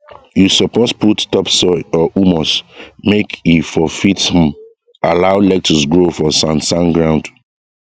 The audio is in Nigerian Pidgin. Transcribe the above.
you suppose put topsoil or humus make e for fit um allow lettuce grow for sand sand ground